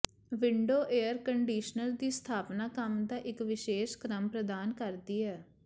window air conditioner ਦੀ ਸਥਾਪਨਾ ਕੰਮ ਦਾ ਇੱਕ ਵਿਸ਼ੇਸ਼ ਕ੍ਰਮ ਪ੍ਰਦਾਨ ਕਰਦੀ ਹੈ